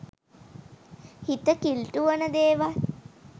හිත කිලිටු වන දේවල්